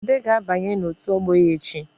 Ude ga-abanye n’otu ọgbọ ya echi